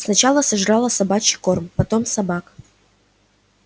сначала сожрала собачий корм потом собак